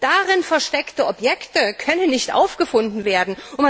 Darin versteckte Objekte können nicht aufgefunden werden.